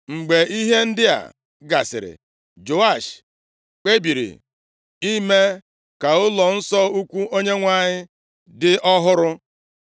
Mgbe ihe ndị a gasịrị, Joash kpebiri ime ka ụlọnsọ ukwu Onyenwe anyị dị ọhụrụ.